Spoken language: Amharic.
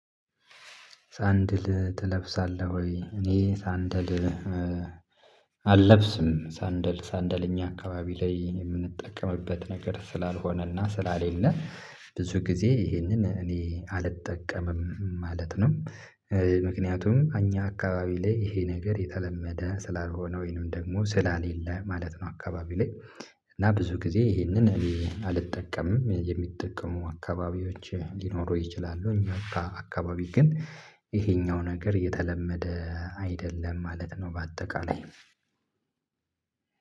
ሳንድል ትለብሳለህ ወይ? እኔ ሳንድል አልለብስም ሳንድል ሳንደል እኛ አካባቢ ላይ የምንጠቀምበት ነገር ስላልሆነና ስለሌለ ብዙ ጊዜ ይሄንን እኔ አልጠቀምም ማለት ነው። ምክንያቱም አኛ አካባቢ ላይ ይሄ ነገር የተለመደ ስላልሆነ ወይንም ደግሞ ስለሌለ ማለት ነው። አካባቢ ላይ እና ብዙ ጊዜ ይሄንን እኔ አልጠቀምም የሚጠቀሙ አካባቢዎች ሊኖሩ ይችላሉ። እኛ አካ አካባቢ ግን ይሄኛው ነገር የተለመደ አይደለም ማለት ነው። በአጠቃላይ